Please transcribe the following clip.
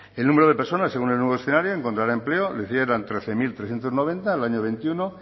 el número de personas según el nuevo escenario encontrar empleo lo hicieron trece mil trescientos noventa en el año veintiuno